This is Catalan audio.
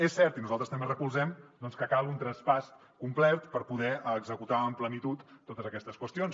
és cert i nosaltres també recolzem doncs que cal un traspàs complet per poder executar amb plenitud totes aquestes qüestions